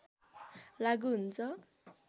लागू हुन्छ